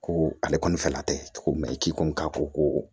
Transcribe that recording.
Ko ale kɔni fɛla tɛ cogo min na i k'i ko k'a ko ko